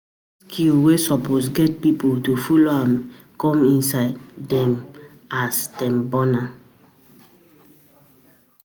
self taught skill wey some pipo get um na follow come e inside um dem as dem born am um